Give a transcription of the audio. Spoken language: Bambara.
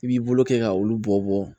I b'i bolo kɛ ka olu bɔ bɔ